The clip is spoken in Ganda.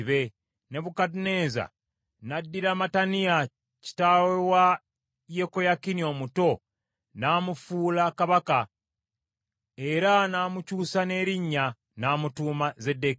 Nebukadduneeza n’addira Mataniya kitaawe wa Yekoyakini omuto, n’amufuula kabaka, era n’amukyusa n’erinnya n’amutuuma Zeddekiya.